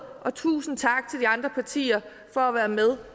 og tusind tak til de andre partier for at være med